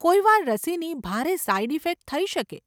કોઈવાર રસીની ભારે side effect થઈ શકે.